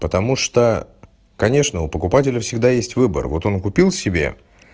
потому что конечно у покупателя всегда есть выбор вот он купил себе